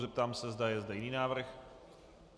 Zeptám se, zda je zde jiný návrh.